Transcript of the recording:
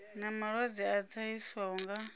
na malwadze a ṱahiswaho nga